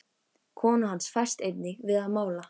Kona hans fæst einnig við að mála.